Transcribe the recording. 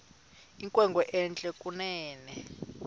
inkwenkwe entle kunene